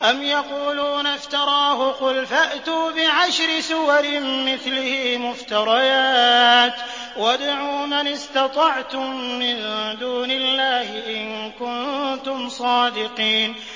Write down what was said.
أَمْ يَقُولُونَ افْتَرَاهُ ۖ قُلْ فَأْتُوا بِعَشْرِ سُوَرٍ مِّثْلِهِ مُفْتَرَيَاتٍ وَادْعُوا مَنِ اسْتَطَعْتُم مِّن دُونِ اللَّهِ إِن كُنتُمْ صَادِقِينَ